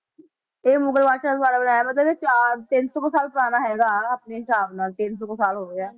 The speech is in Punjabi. ਇਹ ਮੁਗਲ ਬਾਦਸ਼ਾਹ ਦੁਆਰਾ ਬਣਾਇਆ ਮਤਲਬ ਇਹ ਚਾਰ ਤਿੰਨ ਸੌ ਕੁ ਸਾਲ ਪੁਰਾਣਾ ਹੈਗਾ ਹਨਾ ਆਪਣੇ ਹਿਸਾਬ ਨਾਲ ਤਿੰਨ ਸੌ ਕੁ ਸਾਲ ਹੋ ਗਿਆ